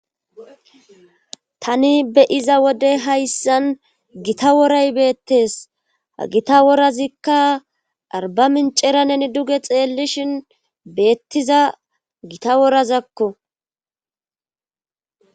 tani beyiza wode hayssan gita woray beettes ha gita worazikka arba mincera neni duge xeellishin beettiza gita worazakko